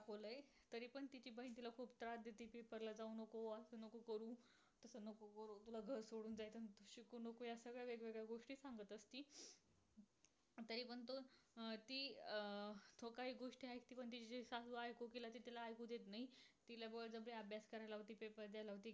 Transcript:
अं तो काही एक गोष्टी आहे. कि तिला सांगू घालतो कि तिला ऐकूच येत नाही. तिला बळजबरी अभ्यास कराय लावती. paper द्याय लावती.